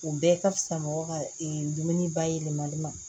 U bɛɛ ka fisa mɔgɔ ka e dumuni bayɛlɛmali ma